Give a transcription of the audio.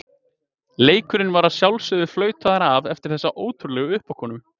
Leikurinn var að sjálfsögðu flautaður af eftir þessa ótrúlegu uppákomu.